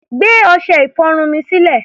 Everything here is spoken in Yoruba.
Gbé ọṣẹ-ìfọrun mi sílẹ̀!